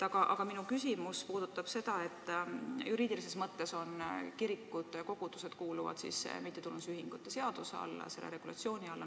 Aga minu küsimus puudutab seda, et juriidilises mõttes kuuluvad kirikud-kogudused mittetulundusühingute seaduse regulatsiooni alla.